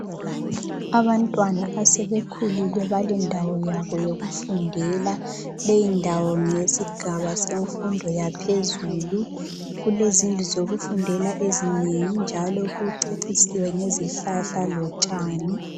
Abantwana esebekhulile balendawo yabo yokufundela. Leyindawo yesigaba semfundo yaphezulu kulezindlu zokufundela ezinengi njalo kucecisiwe ngezihlahla lotshani.